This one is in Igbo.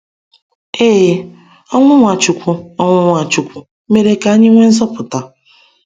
Ee, ọnwụ Nwachukwu ọnwụ Nwachukwu mèrè ka anyị nwee nzọpụta.